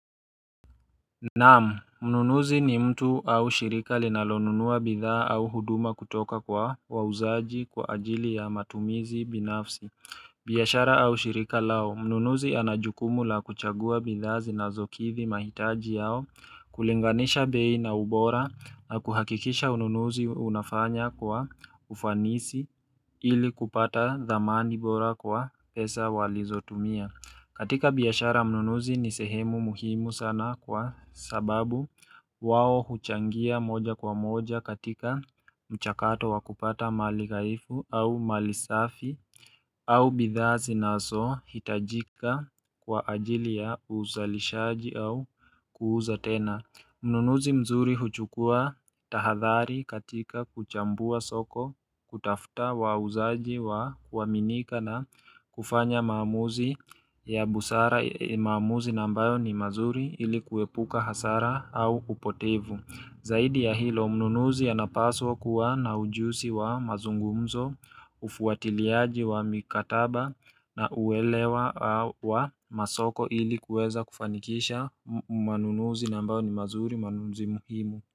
Naam, mnunuzi ni mtu au shirika linalonunua bidhaa au huduma kutoka kwa wauzaji kwa ajili ya matumizi binafsi. Biashara au shirika lao, mnunuzi ana jukumu la kuchagua bidhaa zinazokidhi mahitaji yao kulinganisha bei na ubora na kuhakikisha ununuzi unafanya kwa ufanisi ili kupata dhamani bora kwa pesa walizotumia. Katika biashara mnunuzi ni sehemu muhimu sana kwa sababu wao huchangia moja kwa moja katika mchakato wa kupata mali ghaifu au mali safi au bidhaa zinazo hitajika kwa ajili ya uzalishaji au kuuza tena. Mnunuzi mzuri huchukua tahadhari katika kuchambua soko kutafuta wauzaji wa kuaminika na kufanya maamuzi ya busara maamuzi na ambayo ni mazuri ili kuepuka hasara au upotevu Zaidi ya hilo mnunuzi anapaswa kuwa na ujuzi wa mazungumzo, ufuatiliaji wa mikataba na uwelewa au wa masoko ili kueza kufanikisha manunuzi na ambayo ni mazuri manunuzi muhimu.